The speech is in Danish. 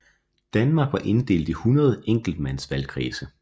Danmark var inddelt i 100 enkeltmandsvalgkredse